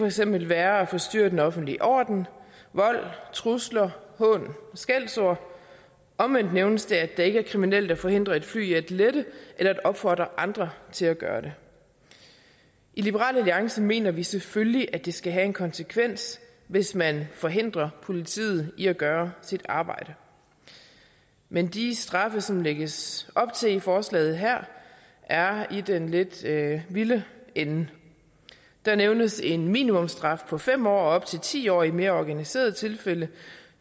eksempel være at forstyrre den offentlige orden vold trusler hån og skældsord omvendt nævnes det at det ikke er kriminelt at forhindre et fly i at lette eller at opfordre andre til at gøre det i liberal alliance mener vi selvfølgelig at det skal have en konsekvens hvis man forhindrer politiet i at gøre sit arbejde men de straffe som lægges op til i forslaget her er i den lidt vilde ende der nævnes en minimumsstraf på fem år og op til ti år i mere organiserede tilfælde